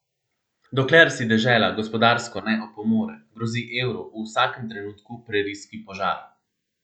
Dokler si dežela gospodarsko ne opomore, grozi evru v vsakem trenutku prerijski požar.